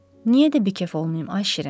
Niyə də bikef olmayım ay Şirin?